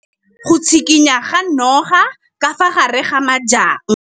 O bone go tshikinya ga noga ka fa gare ga majang.